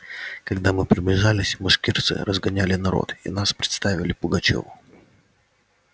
когда мы приближились башкирцы разгоняли народ и нас представили пугачёву